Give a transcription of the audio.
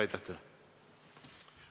Aitäh teile!